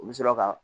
U bɛ sɔrɔ ka